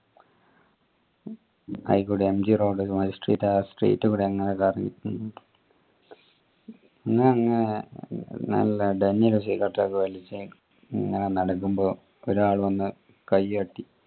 അയ്കൂടെ MG road magistrate ആ പിന്നെ അങ്ങ് നല്ല cigarette ഒക്കെ വലിച്ച് ഇങ്ങനെ നടക്കുമ്പോ ഒരാൾ വന്ന് കൈ തട്ടി